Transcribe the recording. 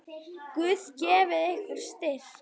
Guð gefi ykkur styrk.